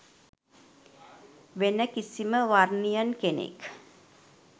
වෙන කිසිම වර්නියන් කෙනෙක්